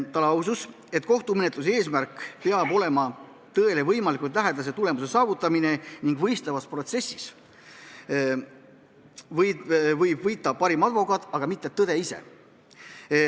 Ta lausus, et kohtumenetluse eesmärk peab olema tõele võimalikult lähedase tulemuse saavutamine ning võistlevas protsessis võib võita parim advokaat, aga mitte tõde ise.